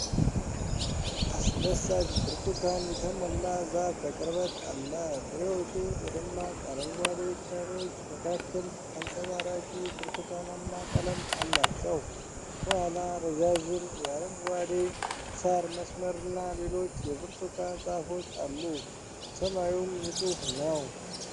አስደሳች ብርቱካን የተሞላ ዛፍ በቅርበት አለ። ፍሬዎቹ በደማቅ አረንጓዴ ቅጠሎች መካከል አንጸባራቂ ብርቱካናማ ቀለም አላቸው። ከኋላ ረዣዥም የአረንጓዴ ሣር መስመርና ሌሎች የብርቱካን ዛፎች አሉ፣ ሰማዩም ንጹህ ነው።